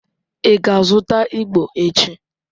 Ị ga-azụta igbo echi?